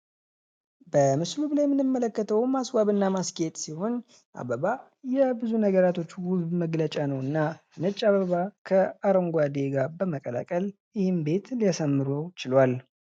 በምስሉ ላይ የምንመለከተው ማስዋብና ማስኬድ ሲሆን ፤አበባ የብዙ ነገሮች ውስጥ መግለጫ ነው እና ነጭ አበባ ከአረንጓዴው ጋር በመቀላቀል ይህን ቤት ሊያስተምሩ ችሏል።